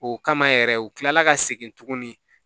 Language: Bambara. O kama yɛrɛ u kila la ka segin tuguni